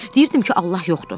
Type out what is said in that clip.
Deyirdim ki, Allah yoxdur.